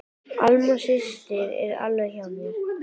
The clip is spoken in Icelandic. Alma systir er alveg hjá mér.